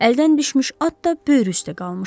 Əldən düşmüş at da böyrü üstə qalmışdı.